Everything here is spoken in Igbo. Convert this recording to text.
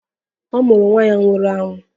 A mụrụ nwa ya nwụrụ anwụ